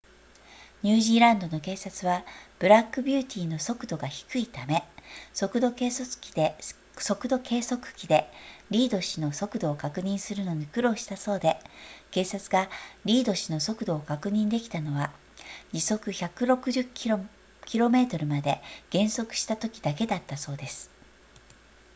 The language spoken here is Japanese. ニュージーランドの警察はブラックビューティーの速度が低いため速度計測器でリード氏の速度を確認するのに苦労したそうで警察がリード氏の速度を確認できたのは時速160 km まで減速したときだけだったそうです